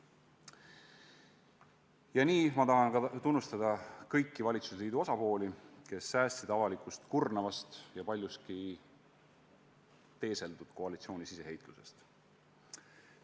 Ja nii tahan ma tunnustada kõiki valitsusliidu osapooli, kes säästsid avalikkust kurnavast ja paljuski teeseldud koalitsiooni siseheitlusest.